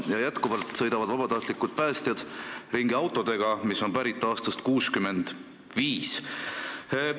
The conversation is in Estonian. Ja jätkuvalt sõidavad vabatahtlikud päästjad ringi autodega, mis on pärit aastast 65.